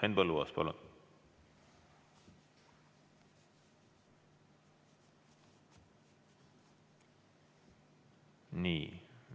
Henn Põlluaas, palun!